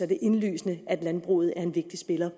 det er indlysende at landbruget er en vigtig spiller